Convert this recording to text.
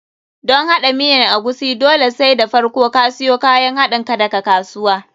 Don haɗa miyan agushi, dole sai da farko ka siyo kayan haɗinka daga kasuwa.